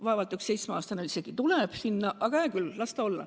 Vaevalt üks seitsmeaastane üldse läheb ise sinna, aga hää küll, las ta olla.